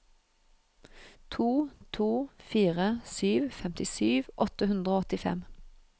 to to fire sju femtisju åtte hundre og åttifem